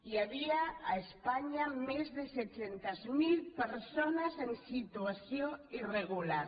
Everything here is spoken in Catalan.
hi havia a espanya més de set·centes mil persones en situació irregular